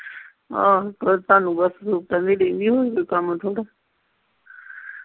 ਆਹੋ ਤੁਹਾਨੂੰ ਬਸ ਡੀਕਨ ਦੀ ਹੋਰ ਕੋਈ ਕੰਮ ਥੋੜਾ